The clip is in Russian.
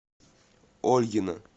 ольгино